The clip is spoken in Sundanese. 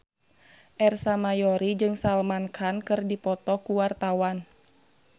Ersa Mayori jeung Salman Khan keur dipoto ku wartawan